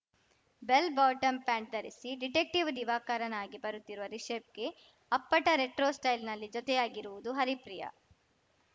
bell bottom pant ಧರಿಸಿ detective ದಿವಾಕರನಾಗಿ ಬರುತ್ತಿರುವ ರಿಷಬ್‌ಗೆ ಅಪ್ಪಟ ರೆಟ್ರೋ ಸ್ಟೈಲ್ನಲ್ಲಿ ಜೊತೆಯಾಗಿರುವುದು ಹರಿಪ್ರಿಯ